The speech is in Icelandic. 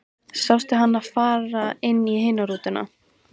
Sástu hana fara inn í hina rútuna?